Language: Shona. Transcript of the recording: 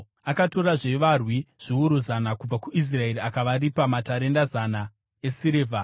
Akatorazve varwi zviuru zana kubva kuIsraeri akavaripa matarenda zana esirivha.